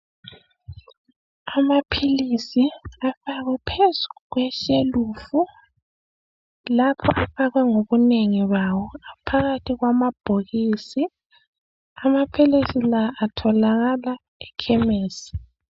Amaphilisi afakwe phezu kweshelufu lapha afakwe ngobunengi bawo phakathi kwamabhokisi. Amaphilisi la atholakala ekhemisi.